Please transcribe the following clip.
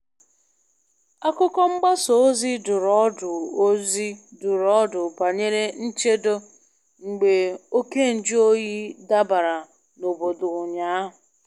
Akụkọ mgbasa ozi dụrụ ọdụ ozi dụrụ ọdụ banyere nchedo mgbe oké nju oyi dabara n'obodo ụnyaahụ.